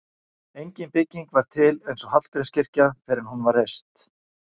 engin bygging var til eins og hallgrímskirkja fyrr en hún var reist